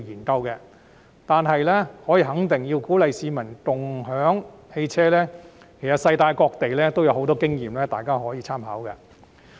但是，可以肯定，要鼓勵市民共享汽車，其實世界各地有很多經驗，大家可以參考。